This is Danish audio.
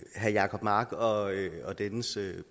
herre jacob mark og dennes